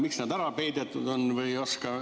Miks see on ära peidetud?